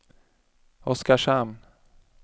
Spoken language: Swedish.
Oskarshamn